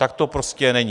Tak to prostě není.